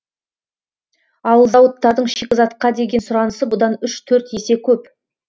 ал зауыттардың шикізатқа деген сұранысы бұдан үш төрт есе көп